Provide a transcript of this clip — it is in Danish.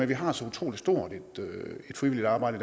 vi har så utrolig stort et frivilligt arbejde